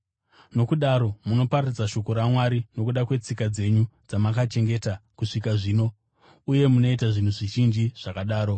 Nokudaro munoparadza shoko raMwari nokuda kwetsika dzenyu dzamakachengeta kusvika zvino. Uye munoita zvinhu zvizhinji zvakadaro.”